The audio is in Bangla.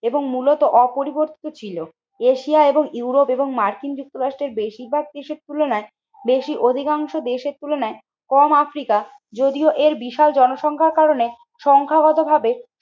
এবং মূলত অপরিবর্তিত ছিল। এশিয়া এবং ইউরোপ এবং মার্কিন যুক্তরাষ্ট্রের বেশিরভাগ দেশের তুলনায় বেশি অধিকাংশ দেশের তুলনায় কম আফ্রিকার যদিও এর বিশাল জনসংখ্যার কারণে সংখ্যাগতভাবে